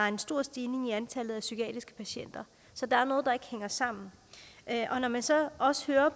en stor stigning i antallet af psykiatriske patienter så der er noget der ikke hænger sammen når man så også hører